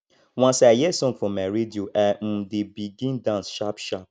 once i hear song for my radio i um dey begin dance sharpsharp